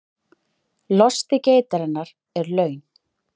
Losti geitarinnar er laun